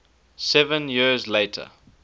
seven years later